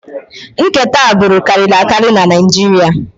Nkewa agbụrụ karịrị akarị na Naịjirịa